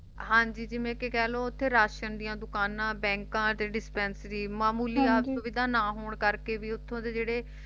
ਹਾਂਜੀ ਜਿਵੇਂ ਕਿ ਕਹਿ ਲੋ ਉੱਥੇ ਰਾਸ਼ਨ ਦੀਆਂ ਦੁਕਾਨਾਂ ਬੈਂਕਾਂ ਤੇ ਡਿਸਪੈਂਸਰੀ ਮਾਮੂਲੀ ਸੁਵਿਧਾ ਨਾ ਹੋਣ ਕਰਕੇ ਵੀ ਉੱਥੋਂ ਦੇ ਜਿਹੜੇ